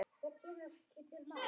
Mætti bjóða þér eina hvíta.